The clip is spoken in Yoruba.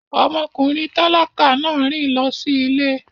Ọmọkùnrin tálákà náà rìn lọ sí ilé